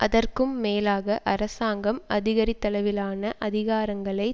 அதற்கும் மேலாக அரசாங்கம் அதிகரித்தளவிலான அதிகாரங்களை